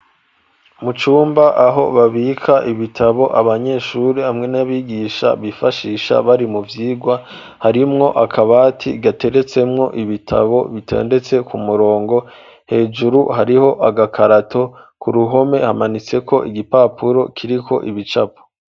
Mu cumba aho babika ibitabo abanyesure hamwe n'abigisha bifashisha bari mu vyigwa harimwo akabati gateretsemwo ibitabo bitendetse ku murongo, hejuru hariho agakarato ku ruhome hamanitseko igipapuro kiriko ibicapo.